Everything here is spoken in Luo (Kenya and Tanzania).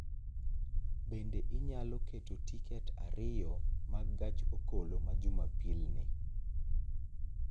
Bende inyalo keto tiket ariyo mag gach okoloma jumapil ni